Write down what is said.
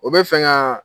O bɛ fɛ ka